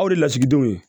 Aw de lasigidenw